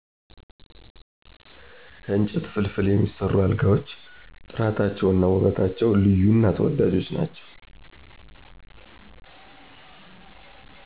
ከእንጨት ፍልፍል የሚሰሩ አልጋዎች ጥራታቸው እና ውበታቸው ልዩ እና ተወዳጆች ናቸው።